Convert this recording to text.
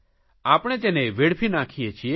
આપણે તેને વેડફી નાંખીએ છીએ